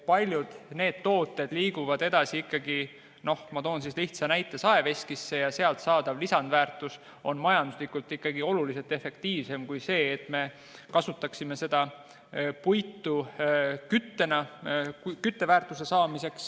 Paljud tooted liiguvad ikkagi edasi – noh, ma toon lihtsa näite – saeveskisse ja seal saadav lisandväärtus on majanduslikult ikkagi oluliselt efektiivsem kui see, et me kasutaksime seda puitu küttena.